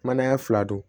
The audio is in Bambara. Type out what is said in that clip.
Manaya fila don